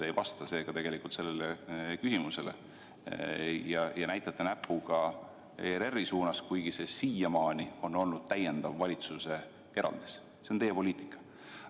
Te pole tegelikult sellele küsimusele vastanud ja näitate näpuga ERR-i suunas, kuigi siiamaani on olnud teie poliitika selline, et õige on täiendav valitsuse eraldis.